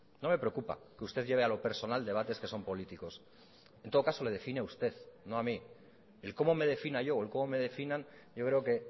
no me preocupa que usted lleve a lo personal debates que son políticos en todo caso le define a usted no a mí el cómo me defina yo o el cómo me definan yo creo que